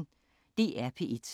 DR P1